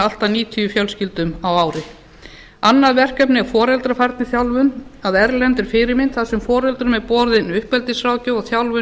allt að níutíu fjölskyldum á ári annað verkefnið er foreldrafærniþjálfun að erlendri fyrirmynd þar sem foreldrum er boðin uppeldisráðgjöf og þjálfun